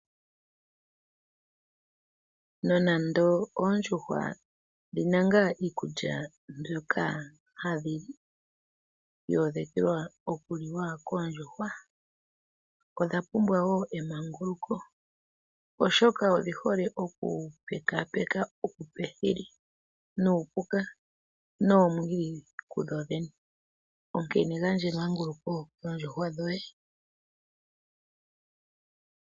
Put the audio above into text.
Nonando oondjuhwa dhi na ngaa iikulya mbyoka hadhi li yoodhekelwa okuliwa koondjuwa, odha pumbwa woo emanguluko oshoka odhi hole okupekapeka uupethile, nuupuka noomwiidhi ku dho dhene, onkene gandja emanguluko koondjuhwa dhoye.